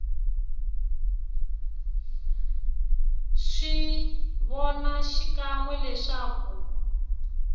swi vona xikan we leswaku